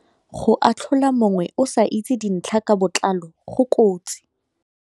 Go atlhola mongwe o sa itse dintlha ka botlalo go kotsi.